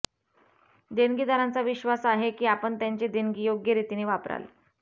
देणगीदारांचा विश्वास आहे की आपण त्यांचे देणगी योग्य रीतीने वापराल